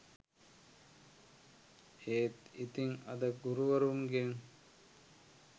ඒත් ඉතින් අද ගුරුවරුන්ගෙන්